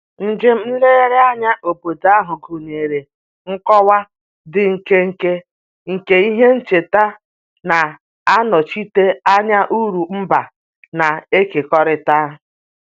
Njem nlegharị anya obodo ahụ gụnyere nkọwa dị nkenke nke ihe ncheta na-anọchite anya uru mba na-ekekọrịta